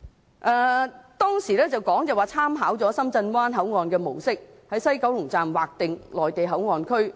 政府當時表示，已參考深圳灣口岸的模式，在西九龍站劃定內地口岸區，